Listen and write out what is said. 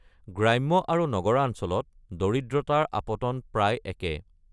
গ্ৰাম্য আৰু নগৰাঞ্চলত দৰিদ্ৰতাৰ আপতন প্ৰায় একে।